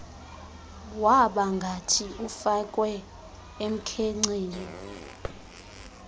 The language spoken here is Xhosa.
wabangathi ufakwe emkhenceni